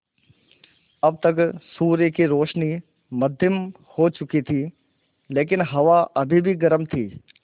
अब तक सूर्य की रोशनी मद्धिम हो चुकी थी लेकिन हवा अभी भी गर्म थी